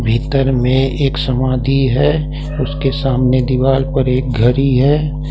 भीतर में एक समाधि है उसके सामने दीवाल पर एक घड़ी है।